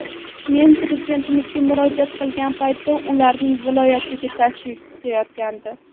Men Prezidentimizga murojaat qilgan paytda ularning viloyatga tashrifi kutilayotgandi.